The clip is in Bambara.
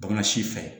Bana si fɛ